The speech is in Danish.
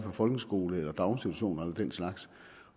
for folkeskole og daginstitutioner og den slags